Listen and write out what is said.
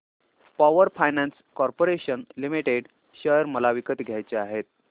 power finance corporation limited share मला विकत घ्यायचे आहेत